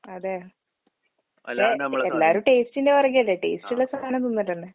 അതെയാ? ഇപ്പെ എല്ലാരും ടേസ്റ്റിന്റെ പൊറകെയല്ലേ. ടേസ്റ്റിള്ള സാനം തിന്നിട്ടന്നെ.